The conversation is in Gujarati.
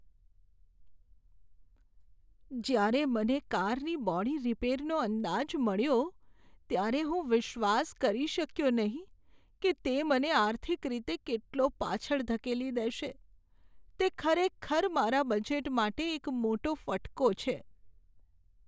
જ્યારે મને કારની બોડી રિપેરનો અંદાજ મળ્યો, ત્યારે હું વિશ્વાસ કરી શક્યો નહીં કે તે મને આર્થિક રીતે કેટલો પાછળ ધકેલી દેશે. તે ખરેખર મારા બજેટ માટે એક મોટો ફટકો છે.